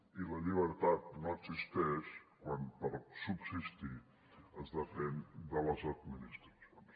i la llibertat no existeix quan per subsistir es depèn de les administracions